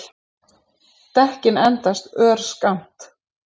Dekkin endist örskammt